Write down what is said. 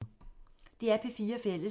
DR P4 Fælles